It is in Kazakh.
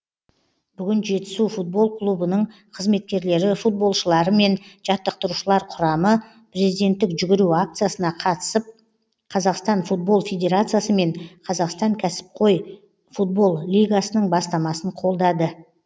бүгін жетісу футбол клубының қызметкерлері футболшылары мен жаттықтырушылар құрамы президенттік жүгіру акциясына қатысып қазақстан футбол федерациясы мен қазақстан кәсіпқой футбол лигасының бастамасын қолдады